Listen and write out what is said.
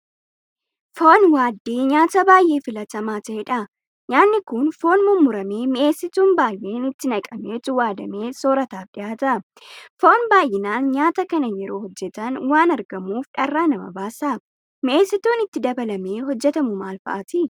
Foon waaddii nyaata baay'ee filatamaa ta'edha. Nyaanni kun Foon mummuramee mi'eessituun baay'een itti naqameetu waadamee soorataaf dhiyaata. Foon baay'inaan nyaata kana yeroo hojjetan waan argamuuf dharraa nama baasa. Mi'eessituun itti dabalamee hojjetamu maalfa'aati?